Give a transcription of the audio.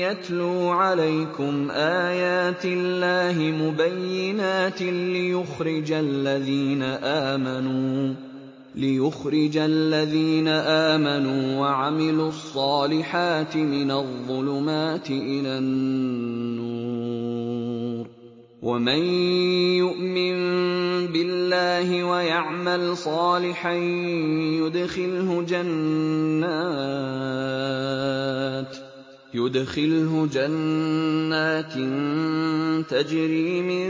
يَتْلُو عَلَيْكُمْ آيَاتِ اللَّهِ مُبَيِّنَاتٍ لِّيُخْرِجَ الَّذِينَ آمَنُوا وَعَمِلُوا الصَّالِحَاتِ مِنَ الظُّلُمَاتِ إِلَى النُّورِ ۚ وَمَن يُؤْمِن بِاللَّهِ وَيَعْمَلْ صَالِحًا يُدْخِلْهُ جَنَّاتٍ تَجْرِي مِن